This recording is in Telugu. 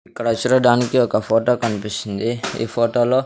ఇక్కడ చూడడానికి ఒక ఫోటో కనిపిస్తుంది ఈ ఫోటోలో .